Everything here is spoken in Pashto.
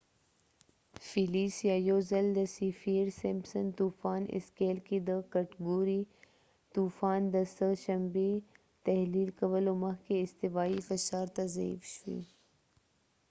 فیلیسیه، یوځل د سیفیر-سمپسن طوفان اسکیل کې د کټګورۍ ۴ طوفان، د سه شنبې تحلیل کولو مخکې استوایی فشار ته ضعیف شوي